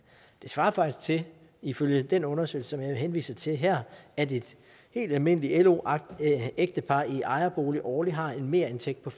det svarer faktisk til ifølge den undersøgelse som jeg henviser til her at et helt almindeligt lo ægtepar i ejerbolig årligt har en merindtægt på